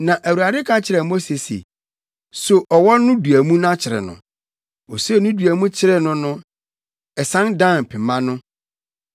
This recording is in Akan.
Na Awurade ka kyerɛɛ Mose se, “So ɔwɔ no dua mu na kyere no!” Osoo ne dua mu kyeree no no, ɛsan dan pema no.